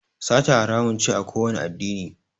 Sata haramun ce a kowani addini